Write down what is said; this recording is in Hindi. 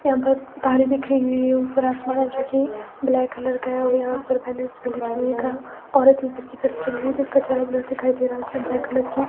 यहां पर तारें बिखरी हुई है ऊपर आसमान है जो कि ब्लैक कलर का है और यहां पर बैनर्स भी लगाने का औरत भी घर की तरफ चल रही है जिसका चेहरा ब्लर दिखाई दे रहा उसने ब्लैक कलर की--